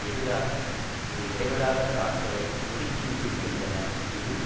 எதிராக ஒரு இடைவிடாத தாக்குதலை முடுக்கி விட்டிருக்கின்றன இது